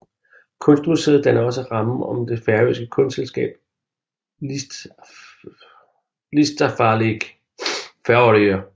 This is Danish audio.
Kunstmuseet danner også rammen om det færøske kunstselskab Listafelag Føroya